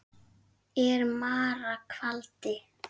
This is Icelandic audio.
er mara kvaldi.